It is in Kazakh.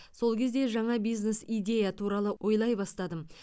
сол кезде жаңа бизнес идея туралы ойлай бастадым